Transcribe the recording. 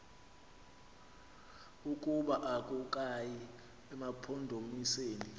ukuba akukayi emampondomiseni